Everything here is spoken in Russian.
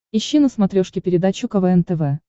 ищи на смотрешке передачу квн тв